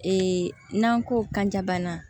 Ee n'an ko kanjabana